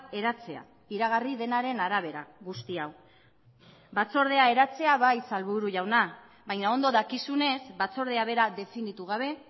eratzea iragarri denaren arabera guzti hau batzordea eratzea bai sailburu jauna baina ondo dakizunez batzordea bera definitu gabe